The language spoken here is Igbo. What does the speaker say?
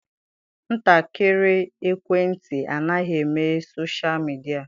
Ntakịrị ekwentị anaghị eme soshal midịa.